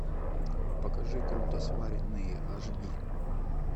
покажи круто сваренные аш ди